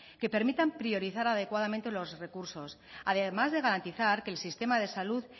que permitan priorizar adecuadamente los recursos además de garantizar que el sistema de salud